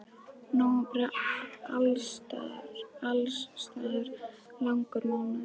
Nóvember er alls staðar langur mánuður.